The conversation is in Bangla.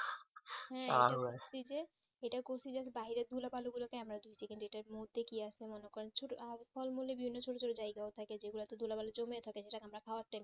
হুম যে এত করছি যাতে বাহিরে ধুলো বালি গুলো কে আমরা ধুচ্ছি কিন্তু কিন্তু আর ফলমূলে বিভিন্ন ছোট ছোট জায়গাও থাকে যে গুলোতে ধুলো বালি জন্য এ থাকে যেটা আমরা খাওয়ার time